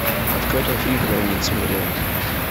открой тот фильм который не досмотрел